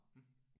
Mh